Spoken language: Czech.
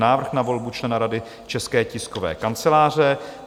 Návrh na volbu člena Rady České tiskové kanceláře